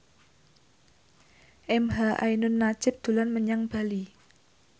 emha ainun nadjib dolan menyang Bali